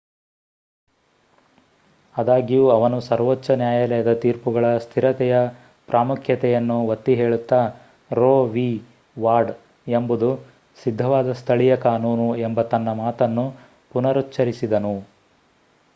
ಅದಾಗ್ಯೂ ಅವನು ಸರ್ವೋಚ್ಚ ನ್ಯಾಯಾಲಯದ ತೀರ್ಪುಗಳ ಸ್ಥಿರತೆಯ ಪ್ರಾಮುಖ್ಯತೆಯನ್ನು ಒತ್ತಿ ಹೇಳುತ್ತಾ ರೋ ವಿ. ವಾಡ್ ಎಂಬುದು ಸಿದ್ಧವಾದ ಸ್ಥಳೀಯ ಕಾನೂನು ಎಂಬ ತನ್ನ ಮಾತನ್ನು ಪುನರುಚ್ಹರಿಸಿದನು